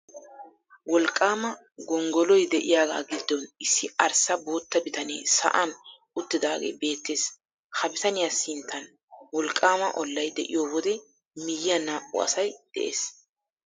Wolqqaama gonggoloy de'iyagaa giddon issi arssa bootta bitanee sa'an uttidaagee beettees. Ha bitaniya sinttan wolqqaama ollay de'iyo wode miyyiyan naa'u asay de'ees.